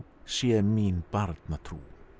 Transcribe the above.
sé mín barnatrú